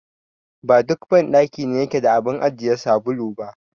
Ba duk banɗaki ne yake da abun ajiye sabulu ba.